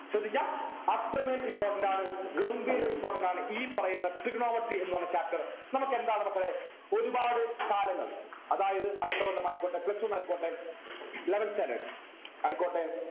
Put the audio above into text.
ശ്രദ്ധിക്കാ അത്രമേൽ important ആണ് ഗംഭീര important ആണ് ഈ പറയുന്ന trigonometry എന്ന് പറയുന്ന chapter നമുക്കെന്താണ് മക്കളെ ഒരുപാട് കാലങ്ങൾ അതായത് അടുത്ത കൊല്ലം ആയിക്കോട്ടെ plus two നു ആയിക്കോട്ടെ eleventh standard ആയിക്കോട്ടെ